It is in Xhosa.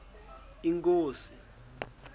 inkosi